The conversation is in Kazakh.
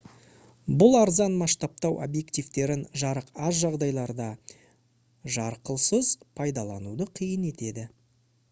бұл арзан масштабтау объективтерін жарық аз жағдайларда жарқылсыз пайдалануды қиын етеді